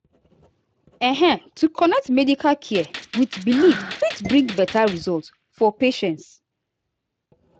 ehn to connect medical care with belief fit bring better results for patients.